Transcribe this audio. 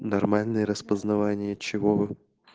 нормальные распознавание чего